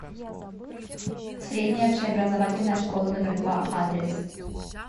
средняя общеобразовательная школа номер два адрес